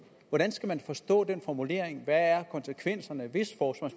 hvordan skal man forstå den formulering hvad er konsekvenserne hvis